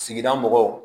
Sigida mɔgɔw